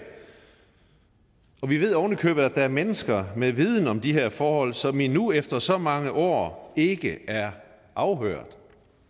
og vi ved oven i købet at der er mennesker med viden om de her forhold som endnu efter så mange år ikke er afhørt